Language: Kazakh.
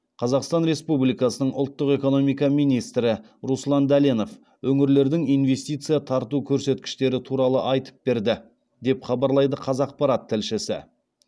қазақстан республикасы ұлттық экономика министрі руслан дәленов өңірлердің инвестиция тарту көрсеткіштері туралы айтып берді деп хабарлайды қазақпарат тілшісі